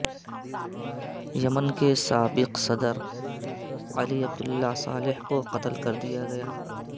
یمن کے سابق صدر علی عبداللہ صالح کو قتل کر دیا گیا